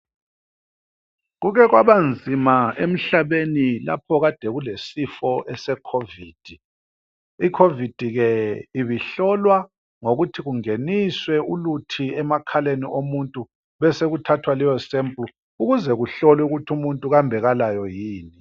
Kukhe kwabanzima emhlabeni lapho kade kulesifo esekhovithi. Ikhovithi ke ibihlolwa ngokuthi kungeniswe uluthi emakhaleni omuntu besekuthathwa leyosephulu ukuze kuhlolwe ukuthi umuntu kambe kalayo yini.